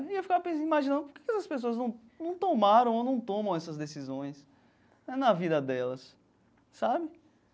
E eu ficava imaginando, por que que essas pessoas não não tomaram ou não tomam essas decisões né na vida delas, sabe?